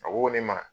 A ko ne ma